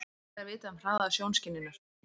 Hvað er vitað um hraða sjónskynjunar?